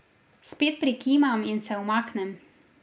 Spet prikimam in se umaknem.